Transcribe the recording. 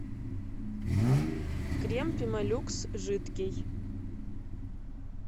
крем пемо люкс жидкий